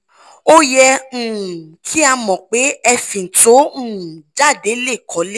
ó yẹ um kí a mọ̀ pé ẹ̀fín tó um jáde lè kọ́lé